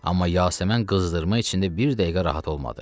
Amma Yasəmən qızdırma içində bir dəqiqə rahat olmadı.